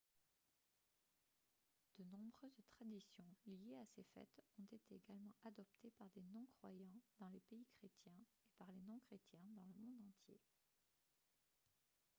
de nombreuses traditions liées à ces fêtes ont été également adoptées par des non-croyants dans les pays chrétiens et par les non-chrétiens dans le monde entier